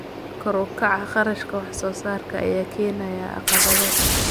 Kor u kaca kharashka wax soo saarka ayaa keenaya caqabado.